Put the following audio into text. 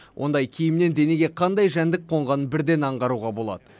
ондай киімнен денеге қандай жәндік қонғанын бірден аңғаруға болады